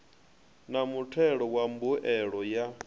na mutheo wa mbuelo ya